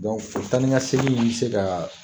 Dɔnku taa ni ka segin in bɛ se ka